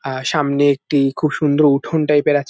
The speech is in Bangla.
আর সামনে একটি খুব সুন্দর উঠোন টাইপের আছ--